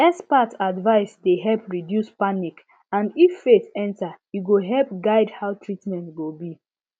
expert advice dey help reduce panic and if faith enter e go help guide how treatment go be